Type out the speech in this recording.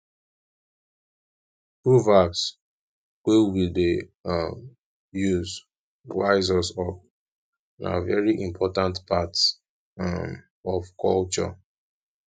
proverbs we dey um use wise us up na very important part um of culture